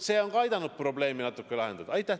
See on ka aidanud probleemi natuke lahendada.